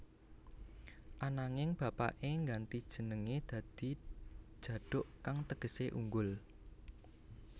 Ananging bapaké ngganti jenengé dadi Djaduk kang tegesé unggul